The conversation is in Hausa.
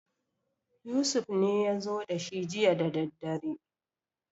Yusuf ne ya zo da shi jiya daddadre